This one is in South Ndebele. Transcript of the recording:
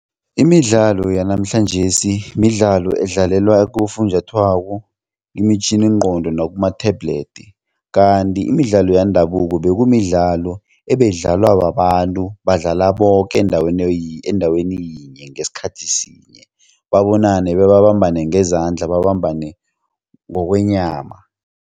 Imidlalo yanamhlanjesi midlalo edlalwa kufunjathwako, imitjhininqondo nakuma-tablet kanti imidlalo yendabuko bekunemidlalo ebeyidlaliwa babantu badlala boke endaweni endaweni yinye ngesikhathi sinye babonane bebabambane ngeezandla babambane ngokwenyama.